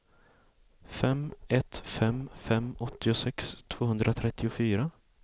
fem ett fem fem åttiosex tvåhundratrettiofyra